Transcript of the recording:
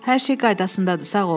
Hər şey qaydasındadır, sağ ol.